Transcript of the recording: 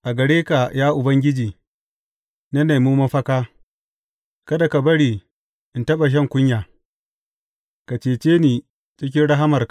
A gare ka, ya Ubangiji, na nemi mafaka; kada ka bari in taɓa shan kunya; ka cece ni cikin rahamarka.